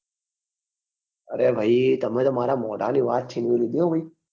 અરે ભાઈ તમે તો મારા મોઢા ની વાત છીનવી લીધી હો ભાઈ